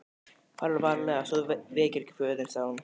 Farðu varlega svo þú vekir ekki föður þinn, sagði hún.